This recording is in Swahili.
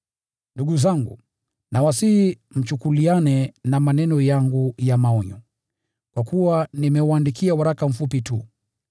Ndugu zangu, nawasihi mchukuliane na maneno yangu ya maonyo, kwa kuwa nimewaandikia waraka mfupi tu.